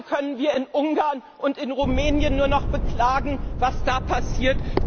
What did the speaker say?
Heute können wir in Ungarn und in Rumänien nur noch beklagen, was da passiert.